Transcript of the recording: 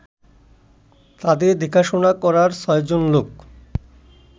তাদের দেখাশোনা করার ছয়জন লোক